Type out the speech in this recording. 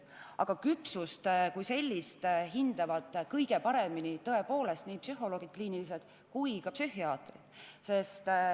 Aga küpsust kui sellist hindavad kõige paremini tõepoolest nii kliinilised psühholoogid kui ka psühhiaatrid.